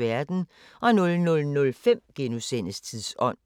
00:05: Tidsånd *